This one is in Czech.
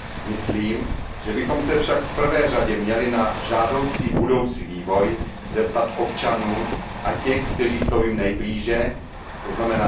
Myslím, že bychom se však v prvé řadě měli na žádoucí budoucí vývoj zeptat občanů a těch, kteří jsou jim nejblíže, tzn.